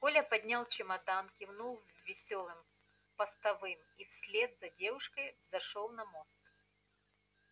коля поднял чемодан кивнул весёлым постовым и вслед за девушкой взошёл на мост